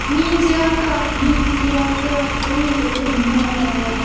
менти алкаш минти алкашам у я так и знала